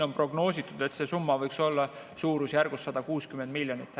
On prognoositud, et see summa võiks olla suurusjärgus 160 miljonit.